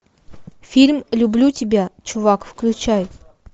фильм люблю тебя чувак включай